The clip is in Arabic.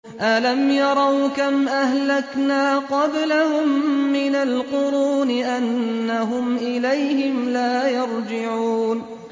أَلَمْ يَرَوْا كَمْ أَهْلَكْنَا قَبْلَهُم مِّنَ الْقُرُونِ أَنَّهُمْ إِلَيْهِمْ لَا يَرْجِعُونَ